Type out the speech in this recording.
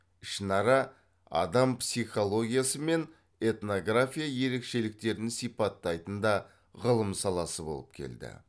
ішінара адам психологиясы мен этнография ерекшеліктерін сипаттайтын да ғылым саласы болып келді